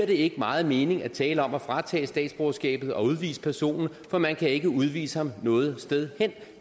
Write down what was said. det ikke meget mening at tale om at fratage statsborgerskabet og udvise personen for man kan ikke udvise ham noget sted hen